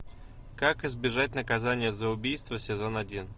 как избежать наказания за убийство сезон один